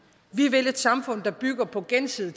vi vil et samfund der bygger på gensidig